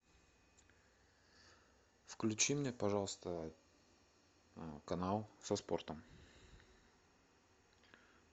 включи мне пожалуйста канал со спортом